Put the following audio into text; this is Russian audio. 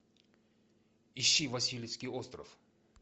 ищи васильевский остров